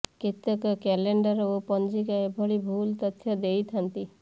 କେତେକ କ୍ୟାଲେଣ୍ଡର ଓ ପଞ୍ଜିକା ଏଭଳି ଭୁଲ ତଥ୍ୟ ଦେଇଛନ୍ତି